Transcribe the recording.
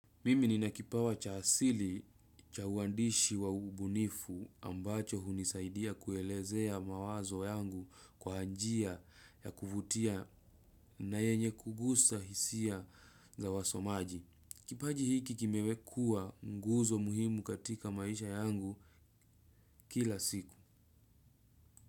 Mimi nina kipawa cha asili cha uandishi wa ubunifu ambacho hunisaidia kuelezea mawazo yangu kwa njia ya kuvutia na yenye kugusa hisia za wasomaji. Kipaji hiki kimekua nguzo muhimu katika maisha yangu, kila siku.